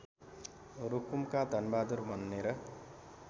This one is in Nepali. रुकुमका धनबहादुर भनेर